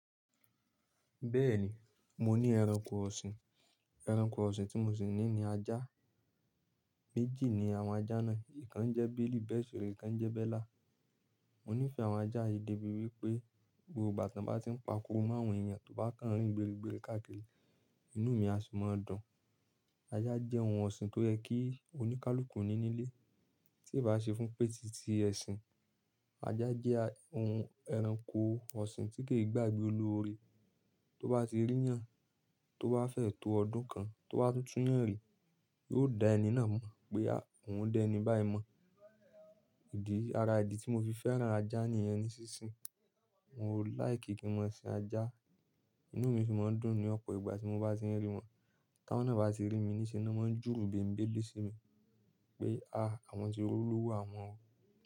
Bẹ́ẹ̀ni, mo ní ẹranko ọ̀sìn. Ẹranko ọ̀sìn tí mo sì ní ni ajá. Méjì ni àwọn ajá náà, ìkan jẹ́ Bílí bẹ́ẹ̀ sì rèé ikan njẹ́ Bẹ́là. Mo nífẹ̀ẹ́ àwọn ajá yìí débi wípé gbogbo ìgbà tí wọ́n bá ti ń pakuru mọ́ àwọn èèyàn tó bá kàn nrìn gbérigbéri káàkiri, inú mi a sì máa dùn. Ajá jẹ́ ohun ọ̀sìn tó yẹ kí oníkálukú ní nílé, tí ìbá ṣe fún pètì tí ẹ̀sìn. Ajá jẹ́ ohun ẹranko ọ̀sìn tí kì í gbàgbé olóore, tó bá ti rí yàn, tó bá fẹ́ tó ọdún kan, tó bá tún tun'yàn rí, yóò dá ẹni náà mọ̀ pé òun dẹ̀ ẹni báyìí mọ̀. Ìdí, ara ìdí tí mo fi fẹ́ràn ajá nìyẹn ní sinsìn. Mo láì kí n máa sin ajá, inú mi sì máa ń dùn ní ọ̀pọ̀ ìgbà tí mo bá ti ń rí wọn. T'awọ́n náà bá ti rí mi níṣe ni wọ́n máa ń júrú bẹ̀begbẹ̀ lẹ́ si mi pé a, àwọn ti olówo àwon o.